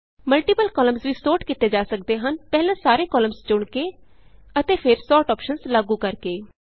multiple columns ਵੀ sort ਕੀਤੇ ਜਾ ਸਕਦੇ ਹਨ ਪਹਿਲਾਂ ਸਾਰੇ ਕਾਲਮਸ ਚੁਣ ਕੇ ਅਤੇ ਫਿਰ ਸੋਰਟ ਅੋਪਸ਼ਨਸ ਲਾਗੂ ਕਰਕੇ